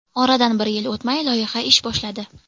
Oradan bir yil o‘tmay loyiha ish boshladi.